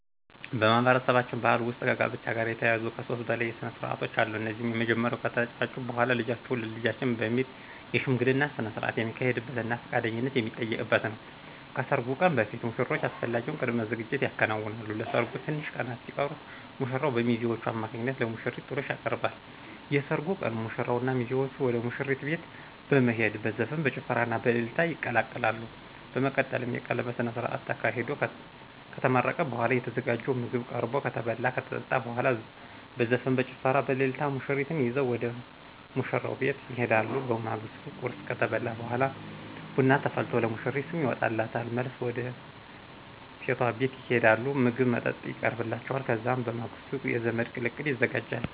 በማህበረሰባችን ባህል ውስጥ ከጋብቻ ጋር የተያያዙ ከሦስት በላይ ስነስርዓቶች አሉ። እነዚህም የመጀመሪያው ከተጫጩ በኋላ ልጃችሁን ለልጃችን በሚል የሽምግልና ስነስርዓት የሚካሄድበትና ፈቃደኝነት የሚጠየቅበት ነው። ከሰርጉ ቀን በፊት ሙሽሮቹ አስፈላጊውን ቅድመ ዝግጅት ያከናውናሉ። ለሰርጉ ትንሽ ቀናት ሲቀሩት ሙሽራው በሚዜዎቹ አማካኝነት ለሙሽሪት ጥሎሽ ያቀርባል። የሰርጉ ቀን ሙሽራውና ሚዜዎቹ ወደ ሙሽሪት ቤት በመሄድ በዘፈን፣ በጭፈራና በእልልታ ይቀላቀላሉ። በመቀጠልም የቀለበት ስነስርዓት ተካሂዶ ከተመረቀ በኋላ የተዘጋጀው ምግብ ቀርቦ ከተበላ ከተጠጣ በኋላ በዘፈን፣ በጭፈራና በእልልታ ሙሽሪትን ይዘው ወደ ሙሽራው ቤት ይሄዳሉ። በማግስቱ ቁርስ ከተበላ በኋላ ቡና ተፈልቶ ለሙሽሪት ስም ይወጣላታል። መልስ ወደ ሴቷ ቤት ይሄዳሉ ምግብ መጠጥ ይቀርብላቸዋል። ከዛም በማግስቱ የዘመድ ቅልቅል ይዘጋጃል።